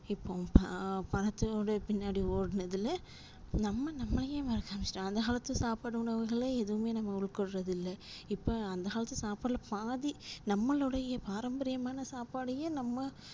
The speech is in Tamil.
இப்போ ஆஹ் பணத்தோட பின்னாடி ஓடுனதுல நம்ம நம்மலையே மறக்க ஆரம்பிச்சிட்டோம் அந்த காலத்து சாப்பாடு உணவுகளே எதுமே நம்ப உட்கொள்றது இல்ல இப்ப அந்த காலத்து சாப்பாடுல பாதி நம்மலோடைய பாரம்பரியமான சாப்பாடையே நம்ம